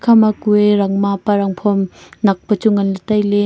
ekha ma kue rangma pa rangphom nak peh chu ngan ley tai ley.